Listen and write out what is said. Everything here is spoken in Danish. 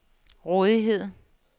rådighed